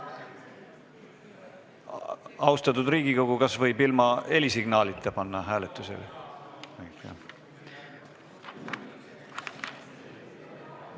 Austatud Riigikogu, kas võib selle ilma helisignaalita panna hääletusele?